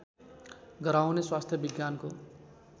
गराउने स्वास्थ्य विज्ञानको